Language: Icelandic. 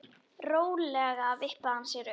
Rólega vippaði hann sér upp.